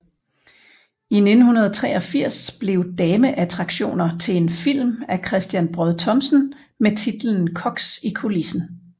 I 1983 blev Dameattraktioner til en film af Christian Braad Thomsen med titlen Koks i kulissen